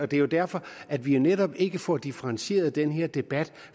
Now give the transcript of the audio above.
det er jo derfor at vi netop ikke får differentieret den her debat